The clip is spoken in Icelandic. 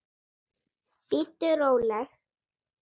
Bíddu róleg!